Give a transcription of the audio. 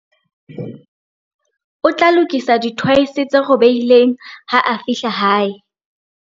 O tla lokisa dithoese tse robehileng ha a fihla hae.